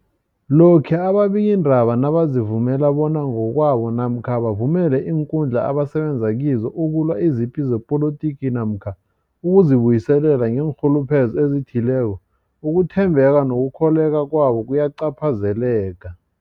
Lokhuya ababikiindaba nabazivumela bona ngokwabo namkha bavumele iinkundla abasebenza kizo ukulwa izipi zepolitiki namkha ukuzi buyiselela ngeenrhuluphelo ezithileko, ukuthembeka nokukholweka kwabo kuyacaphazeleka.